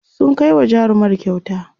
sun Kai wa jarumar kyauta